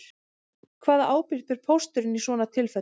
Hvaða ábyrgð ber pósturinn í svona tilfellum